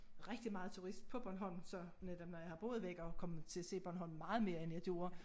Rigtig meget turist på Borhnolm så netop når jeg har boet væk og er kommet til at se Bornholm meget mere end jeg gjorde